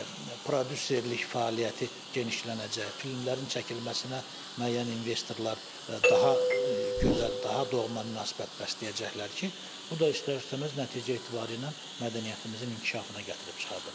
Prodüserlik fəaliyyəti genişlənəcək, filmlərin çəkilməsinə müəyyən investorlar daha gözəl, daha doğma münasibət bəsləyəcəklər ki, bu da istər-istəməz nəticə etibarilə mədəniyyətimizin inkişafına gətirib çıxardacaq.